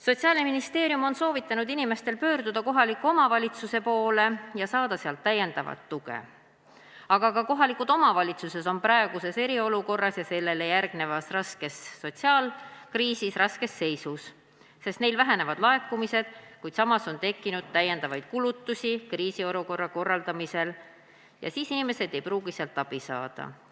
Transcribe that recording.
Sotsiaalministeerium on soovitanud inimestel pöörduda kohaliku omavalitsuse poole, et saada sealt tuge, aga ka kohalikud omavalitsused on praeguse eriolukorra ja sellele järgneva sotsiaalkriisi tõttu raskes seisus, sest neil vähenevad laekumised, aga samas on tekkinud lisakulutusi kriisiolukorra korraldamisel, nii et inimesed ei pruugi sealt abi saada.